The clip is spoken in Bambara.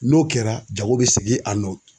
N'o kɛra jago bɛ segin a nɔ na.